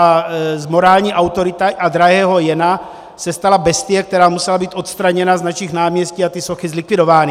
A z morální autority a drahého Jena se stala bestie, která musela být odstraněna z našich náměstí a ty sochy zlikvidovány.